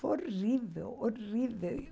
Foi horrível, horrível.